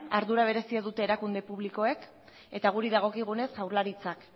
ardura berezia dute erakunde publikoek eta guri dagokigunez jaurlaritzak